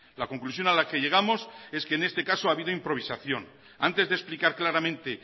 la conclusión a la que llegamos es que en este caso ha habido improvisación antes de explicar claramente